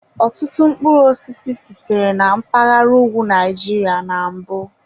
Ọtụtụ mkpụrụ osisi sitere na mpaghara ugwu Nigeria na mbụ.